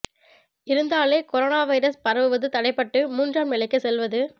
இருந்தாலே corona virus பரவுவது தடைபட்டு மூன்றாம் நிலைக்கு செல்வது